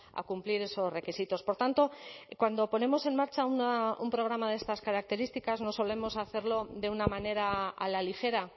a cumplir esos requisitos por tanto cuando ponemos en marcha un programa de estas características no solemos hacerlo de una manera a la ligera